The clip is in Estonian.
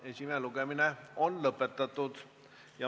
Esimene lugemine on lõpetatud.